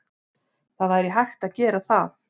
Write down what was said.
Það væri hægt að gera það.